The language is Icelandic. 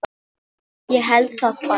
Ég held það bara.